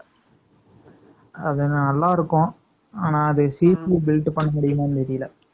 அது நல்லா இருக்கும். ஆனா, அது சீப்பு built பண்ண முடியுமான்னு தெரியலே